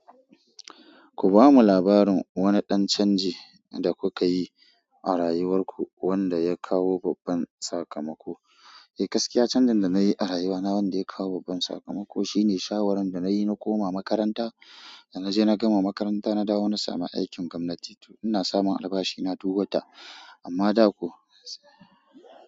Ku bamu labarin wani ɗan canji da kuka yi a rayuwar ku wanda ya kawo babban sakamako. Eh, gaskiya canjin da na yi a rayuwa na wanda ya kawo babban sakamako shi ne shawarar da na yi na koma makaranta. Da na je na gama makaranta, na dawo na sami aikin gwamnati. Ina samun albashi na duk wata, amma da ko.